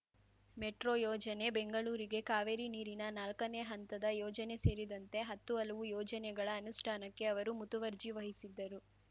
metro ಯೋಜನೆ ಬೆಂಗಳೂರಿಗೆ ಕಾವೇರಿ ನೀರಿನ ನಾಲ್ಕನೇ ಹಂತದ ಯೋಜನೆ ಸೇರಿದಂತೆ ಹತ್ತು ಹಲವು ಯೋಜನೆಗಳ ಅನುಷ್ಠಾನಕ್ಕೆ ಅವರು ಮುತುವರ್ಜಿ ವಹಿಸಿದ್ದರು